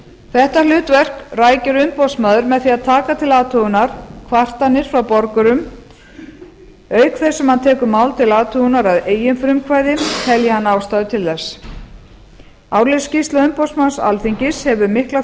þetta hlutverk rækir umboðsmaður með því að taka til athugunar kvartanir frá borgurunum auk þess sem hann tekur mál til athugunar að eigin frumkvæði telji hann ástæðu til þess árleg skýrsla umboðsmanns alþingis hefur mikla